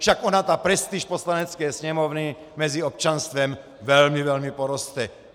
Však ona ta prestiž Poslanecké sněmovny mezi občanstvem velmi, velmi poroste.